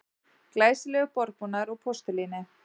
Glæsilegur borðbúnaður úr postulíni